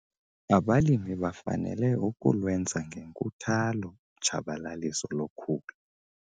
Abalimi bafanele ukulwenza ngenkuthalo utshabalaliso lokhula.